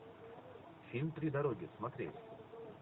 фильм три дороги смотреть